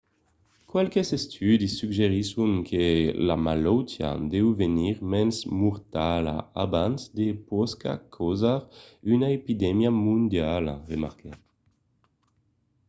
qualques estudis suggerisson que la malautiá deu venir mens mortala abans que pòsca causar una epidemia mondiala remarquèt